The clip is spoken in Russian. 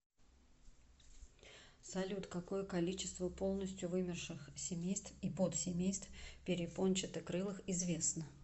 салют какое количество полностью вымерших семейств и подсемейств перепончатокрылых известно